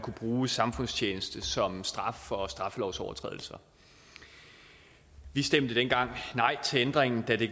bruge samfundstjeneste som straf for straffelovsovertrædelser vi stemte dengang nej til ændringen da det